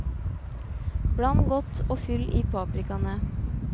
Bland godt og fyll i paprikaene.